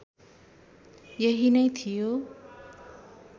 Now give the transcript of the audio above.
यही नै थियो